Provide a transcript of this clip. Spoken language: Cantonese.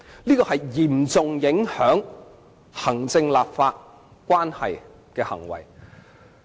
這是嚴重影響行政立法關係的行為。